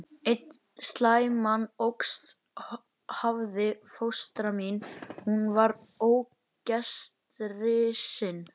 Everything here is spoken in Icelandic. Einn slæman ókost hafði fóstra mín, hún var ógestrisin.